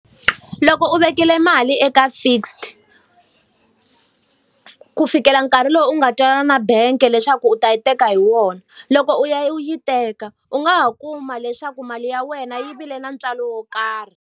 Loko u vekile mali eka fixed ku fikela nkarhi lowu u nga twanana na bangi leswaku u ta yi teka hi wona. Loko u ya u yi teka u nga ha kuma leswaku mali ya wena yi vile na ntswalo wo karhi.